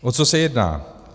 O co se jedná?